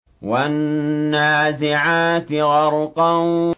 وَالنَّازِعَاتِ غَرْقًا